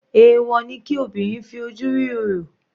Èwọ̀ ni kí obìnrin fi ojú rí orò.